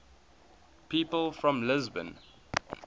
people from lisbon